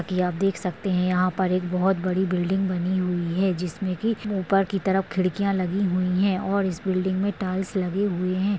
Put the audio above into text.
की आप देख सकते है यहाँ पर एक बहुत बड़ी बिल्डिंग बनी हुई है जिसमे की ऊपर की तरफ खिड़कियाँ लगी हुई है और इस बिल्डिंग मे टाइल्स लगे हुए है।